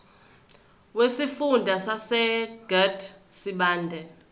wesifunda sasegert sibande